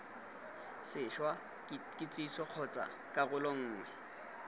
sešwa kitsiso kgotsa karolo nngwe